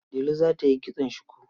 Delu za ta yi kitson shuku.